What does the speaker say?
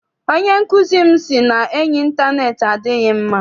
Onye nkụzi m sị na enyi intaneeti adịghị mma.